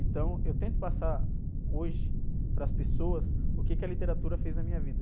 Então, eu tento passar hoje para as pessoas o quê que a literatura fez na minha vida.